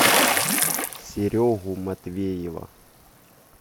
серегу матвеева